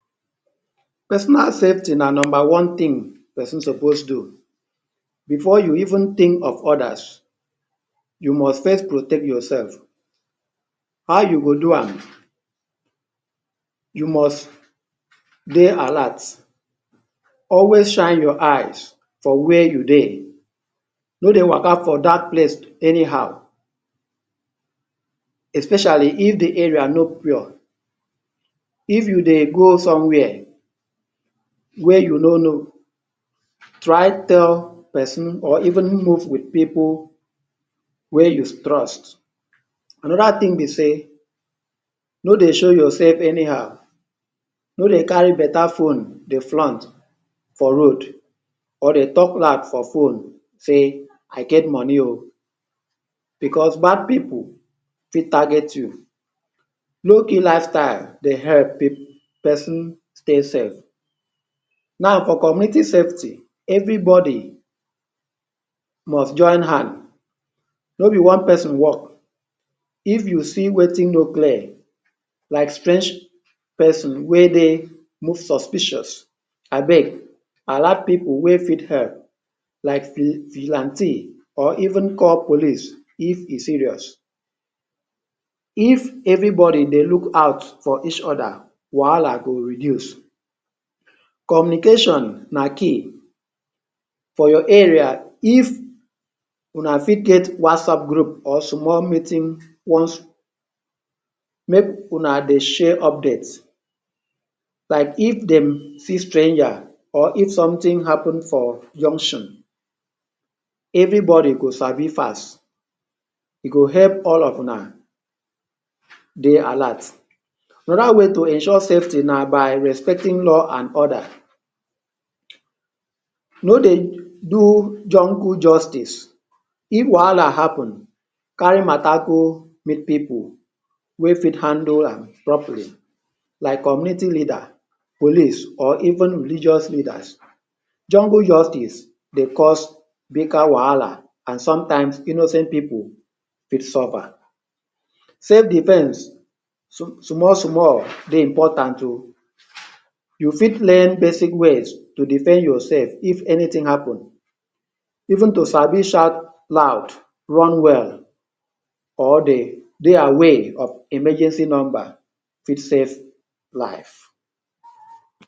Personal safety na number one thing pesin suppose do. Before you even think of others, you must first protect yourself. How you go do am? You must dey alert, always shine your eyes for where you dey, no dey waka for dark place anyhow especially if the area no pure. If you dey go somewhere wey you no know, try tell pesin or even move with pipu wey you trust. Another thing be sey no dey show yourself anyhow. No dey carry better phone dey flunt for road or dey talk loud for phone say i get money oh, because bad pipu fit target you. Low key lifestyle dey help pesin stay safe. Now for community setting, everybody must join hands. No be one person work. If you see wetin no clear like strange pesin wey de look suspicious, abeg alert pipu wey fit help. Like Vi vigilante or even call police if e serious. If everybody dey look out for each other, wahala go reduce. Communication na key. For your area If una fit get WhatsApp group or small meeting post, make huna dey share update. Like If de see strange or if something happen for junction. Everybody go sabi fast. E go help all of huna dey alert. Another way to ensure safety na by respecting law and order. No dey do jungle justice. If wahala happen, carry matter go meet pipu wey fit handle am properly. Like community leader, police or even religious leader. Jungle justice dey cause greater wahala and sometimes innocent pipu fit suffer. Self-defence small small small dey important oh. You fit learn to defend yourself if anything happen. Even to sabi shout loud run well or dey dey aware of emergency number fit save life.